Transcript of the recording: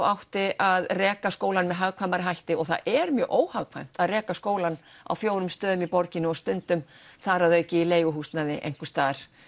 átti að reka skólann með hagkvæmari hætti og það er mjög óhagkvæmt að reka skólann á fjórum stöðum í borginni og stundum þar að auki í leiguhúsnæði einhvers staðar